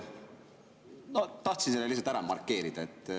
Tahtsin selle lihtsalt ära markeerida.